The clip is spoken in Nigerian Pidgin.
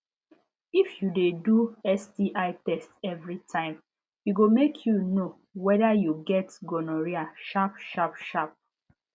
if u de do sti test everytime e go mk u knw weda u get gonorrhea sharp sharp sharp